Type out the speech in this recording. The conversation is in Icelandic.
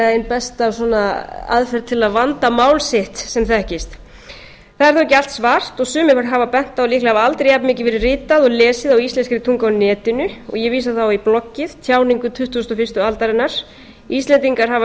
er líklega ein besta aðferð til að vanda mál sitt sem þekkist það er þó ekki allt svart og sumir hafa bent á að líklega hafi aldrei jafnmikið verið ritað og lesið á íslenskri tungu á netinu og ég vísa þá í bloggið tjáningu tuttugasta og fyrstu aldarinnar íslendingar hafa